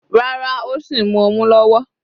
Rárá, ó sìn mu ọmu lọ́wọ́.